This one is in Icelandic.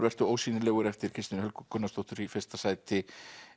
vertu ósýnilegur eftir Kristínu Helgu Gunnarsdóttur í fyrsta sæti